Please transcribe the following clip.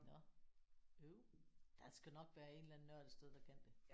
Nåh øv. Der skal nok være en eller anden nørd et sted der kan det